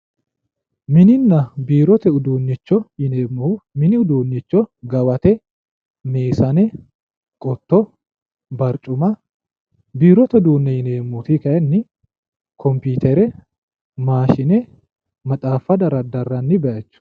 Mininna biirote uduunicho yineemmohu, mini uduunicho gawate, meesane barucuma, biirote uduunicho yineemmori kayinni kompitere, maashine, maxaafa daradaranni bayicho.